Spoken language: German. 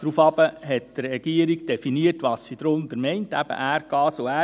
Daraufhin hat die Regierung definiert, was sie darunter versteht, nämlich Erdgas und Erdöl.